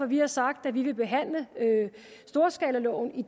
vi har sagt at vi vil behandle storskalaloven i